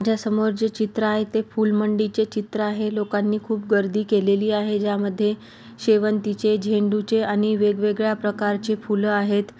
ज्या समोर जे चित्र आहे ते फूलमंडीचे चित्र आहे लोकांनी खूप गर्दी केलेली आहेज्यामध्ये शेवंतीचे झेंडूचे आणि वेग-वेगळ्या प्रकारचे फूल आहेत.